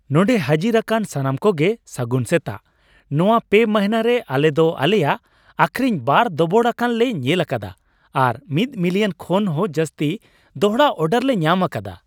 ᱱᱚᱸᱰᱮ ᱦᱟᱹᱡᱤᱨᱟᱠᱟᱱ ᱥᱟᱱᱟᱢᱠᱚ ᱜᱮ ᱥᱟᱹᱜᱩᱱ ᱥᱮᱛᱟᱜ ᱾ ᱱᱚᱣᱟ ᱯᱮ ᱢᱟᱹᱱᱦᱟᱹ ᱨᱮ ᱟᱞᱮ ᱫᱚ ᱟᱞᱮᱭᱟᱜ ᱟᱹᱠᱷᱨᱤᱧ ᱵᱟᱨ ᱫᱚᱵᱚᱲᱟᱠᱟᱱ ᱞᱮ ᱧᱮᱞ ᱟᱠᱟᱫᱟ ᱟᱨ ᱑ ᱢᱤᱞᱤᱭᱚᱱ ᱠᱷᱚᱱ ᱦᱚᱸ ᱡᱟᱹᱥᱛᱤ ᱫᱚᱲᱦᱟ ᱚᱨᱰᱟᱨ ᱞᱮ ᱧᱟᱢ ᱟᱠᱟᱫᱟ ᱾